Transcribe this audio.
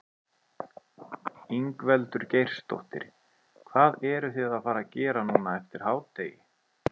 Ingveldur Geirsdóttir: Hvað eruð þið að fara gera núna eftir hádegi?